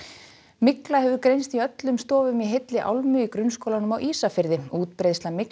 mygla hefur greinst í öllum stofum í heilli álmu í grunnskólanum á Ísafirði útbreiðsla